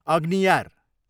अग्नियार